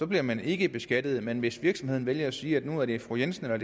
bliver man ikke beskattet men hvis virksomheden vælger at sige at nu er det fru jensen eller